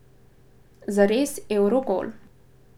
Zares evrogol.